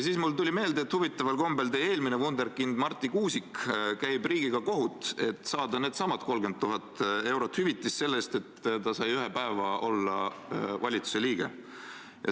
Siis tuli mulle meelde, et huvitaval kombel käib teie eelmine Wunderkind Marti Kuusik riigiga kohut, et saada needsamad 30 000 eurot hüvitist selle eest, et ta sai ühe päeva olla valitsuse liige.